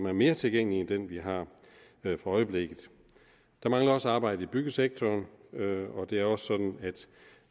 er mere tilgængelig end den vi har for øjeblikket der mangler også arbejde i byggesektoren og det er også sådan at